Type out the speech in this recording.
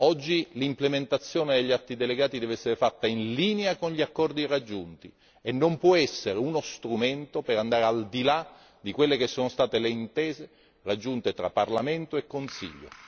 Oggi l'implementazione degli atti delegati deve essere fatta in linea con gli accordi raggiunti e non può essere uno strumento per andare al di là di quelle che sono state le intese raggiunte tra Parlamento e Consiglio.